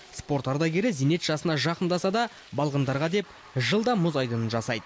спорт ардагері зейнет жасына жақындаса да балғындарға деп жылда мұз айдынын жасайды